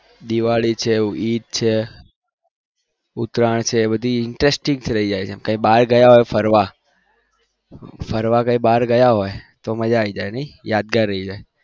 દિવાળી છે ઈદ છે ઉતરાણ છે એ બધી interested થઇ જાય છે બાર ગયા હોય ફરવા ફરવા કઈ ભર ગયા હોય તો મજા આવી જાય